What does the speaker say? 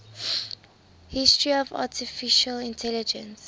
history of artificial intelligence